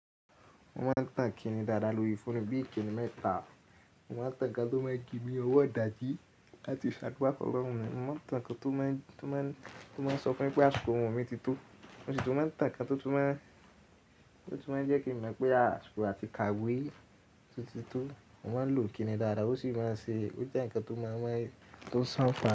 Mo máa ń tan ikìnnì dáadáa lórí fóònù bí ikìnnì metà. Mo máa ń tàn nkán tó máa ń ji mi ni owó idàjí láti ṣàdúà fún ọlọ́run mi. Mo máa ń tàn ikán tó máa ń, tó máa ń, tó máa ń sọ fún mi pé àṣikò orun mi ti tó. Mo sì tún máa ń tàn ikán tó, tó máa ń, tó tun máa ń jẹ́ kí n mọ̀ pé àṣikò àti kàwé o ti tó. Mo máa ń lo ikìnnì dáadáa, ó sì máa ń ṣe, ó jẹ́ ǹkan tó máa ń, tó ń ṣán.